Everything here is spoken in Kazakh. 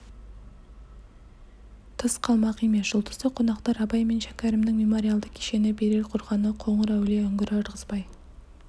тыс қалмақ емес жұлдызды қонақтар абай мен шәкәрімнің мемориалды кешені берел қорғаны қоңыр-әулие үңгірі ырғызбай